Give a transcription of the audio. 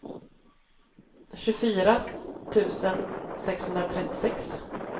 tjugofyra tusen sexhundratrettiosex